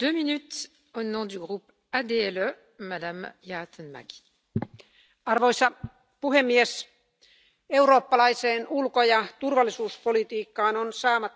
Arvoisa puhemies, eurooppalaiseen ulko ja turvallisuuspolitiikkaan on saatava huomattavasti nykyistä vahvempi ilmastoulottuvuus.